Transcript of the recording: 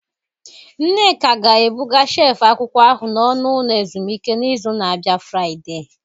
Nneka ga-ebuga shelf akwụkwọ ahụ n'ọnụ ụlọ ezumike n'izu na-abịa Fridee